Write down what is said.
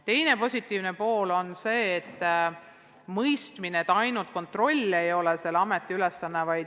Teine positiivne asi on mõistmine, et kontroll ei ole Keeleameti ainuke ülesanne.